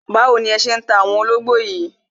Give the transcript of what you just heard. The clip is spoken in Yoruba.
Báwo ni ẹ ṣé ń ta àwọn ológbò yìí